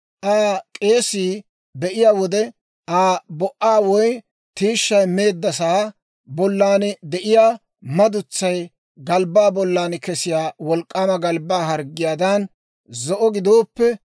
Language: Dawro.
Aa k'eesii; be'iyaa wode Aa bo"aa woy tiishshay meeddasaa bollan de'iyaa madutsay galbbaa bollan kesiyaa wolk'k'aama galbbaa harggiyaadan zo'o gidooppe,